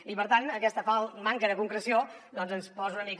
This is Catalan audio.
i per tant aquesta manca de concreció ens posa una mica